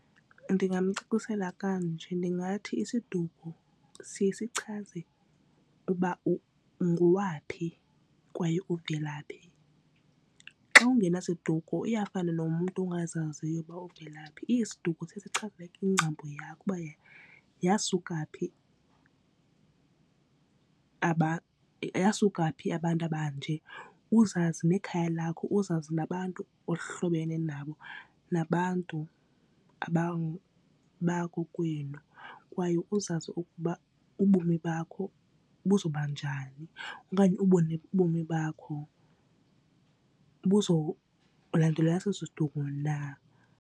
Ndingamcacisela kanje ndingathi isiduko siye sichaze uba ungowaphi kwaye uvela phi. Xa ungena siduko iyafana nomntu ongazaziyo uba uvela phi, isiduko siye sichaze ingcambu yakho uba yasuka phi yasuka phi abantu abanje uzazi nekhaya lakho uzazi nabantu ohlobene nabo nabantu bakokwenu. Kwaye uzazi ukuba ubomi bakho buzawuba njani okanye ubone ubomi bakho buzowulandela eso siduko na.